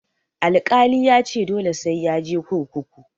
Alkali yace dole sai yaje kurkuku.